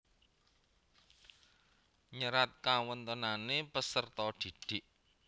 Nyerat kawontenane peserta didik